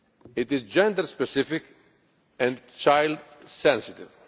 It is gender specific and child sensitive.